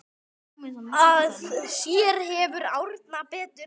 Að sér vefur Árna betur